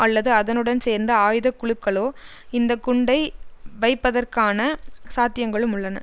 அல்லது அதனுடன் சேர்ந்த ஆயுத குழுக்களோ இந்த குண்டை வைப்பதற்கான சாத்தியங்களும் உள்ளன